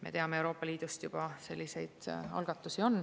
Me teame, et Euroopa Liidus juba selliseid algatusi on.